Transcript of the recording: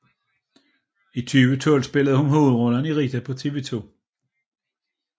I 2012 spillede hun hovedrollen i Rita på TV 2